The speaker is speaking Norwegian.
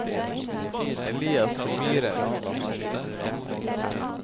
Elias Myhren